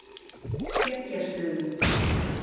Skeggjastöðum